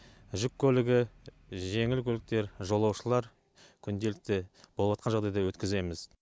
жүк көлігі жеңіл көліктер жолаушылар күнделікті болыватқан жағдайда өткіземіз